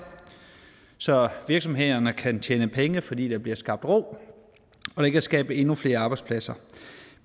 så virksomhederne kan tjene penge fordi der bliver skabt ro og det kan skabe endnu flere arbejdspladser